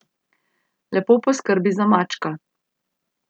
Lepo poskrbi za mačka.